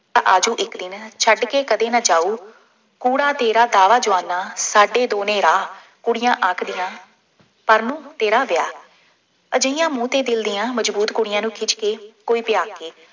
ਆ ਜਾਉ ਇੱਕ ਦਿਨ, ਛੱਡ ਕੇ ਕਦੇ ਨਾ ਜਾਉ, ਕੂਹੜਾ ਤੇਰਾ ਕਾਹਲਾ ਜਵਾਨਾਂ ਸਾਡੇ ਦੋ ਨੇ ਰਾਹ, ਕੁੜੀਆਂ ਆਖਦੀਆਂ, ਪਰਨੂੰ ਤੇਰਾ ਵਿਆਹ, ਅਜਿਹੀਆਂ ਮੂੰਹ ਅਤੇ ਦਿਲ ਦੀਆਂ ਮਜ਼ਬੂਤ ਕੁੜੀਆਂ ਨੂੰ ਖਿੱਚ ਕੇ ਕੋਈ ਵਿਆਹ ਕੇ